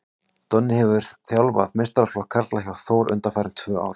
Donni hefur áður þjálfað meistaraflokk karla hjá Þór undanfarin tvö ár.